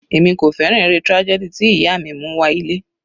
Èmi kò fẹ́ràn eré tragedy tí ìyá mi mú wá ilé.